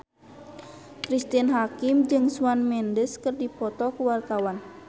Cristine Hakim jeung Shawn Mendes keur dipoto ku wartawan